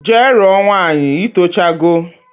Jee ruo nwaanyi itocha go